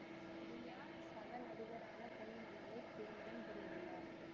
சரண்யா சக நடிகரான பொன் வண்ணனைத் திருமணம் புரிந்துள்ளார்